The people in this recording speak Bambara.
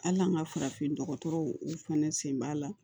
Hali an ka farafin dɔgɔtɔrɔw u fɛnɛ sen b'a la